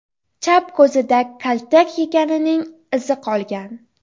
Chap ko‘zida kaltak yeganining izi qolgan.